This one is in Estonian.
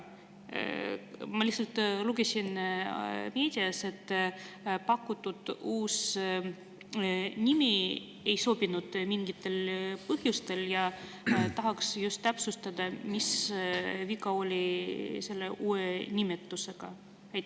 Ma lihtsalt lugesin meediast, et pakutud uus nimi mingitel põhjustel ei sobinud, ja tahaksin täpsustada, mis sellel uuel nimetusel viga oli.